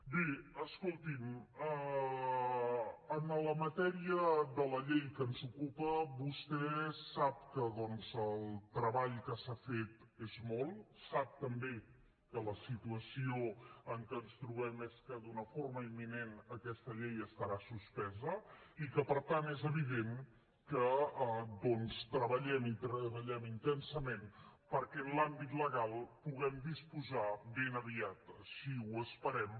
bé escolti’m en la matèria de la llei que ens ocupa vostè sap que doncs el treball que s’ha fet és molt sap també que la situació en què ens trobem és que d’una forma imminent aquesta llei estarà suspesa i que per tant és evident que treballem i treballem intensament perquè en l’àmbit legal puguem disposar ben aviat així ho esperem